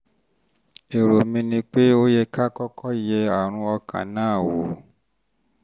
um èrò mi ni pé um ó yẹ ká kọ́kọ́ yẹ um àrùn ọkàn náà wò